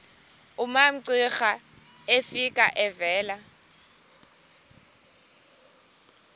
umamcira efika evela